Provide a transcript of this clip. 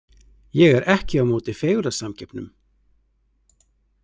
Ég er ekki á móti fegurðarsamkeppnum.